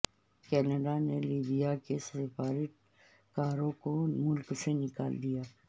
Canada نے Libya کے سفارت کاروں کو ملک سے نکال دیا